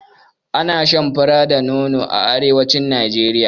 Ana shan fura da nono a arewacin Najeriya.